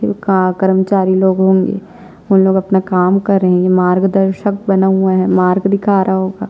का कर्मचारी लोग होंगे उन लोग अपना काम कर रहै है मार्गदर्शक बना हुआ है मार्ग दिखा रहा होगा--